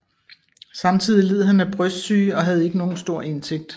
Samtidig led han af brystsyge og havde ikke nogen stor indtægt